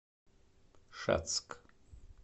шацк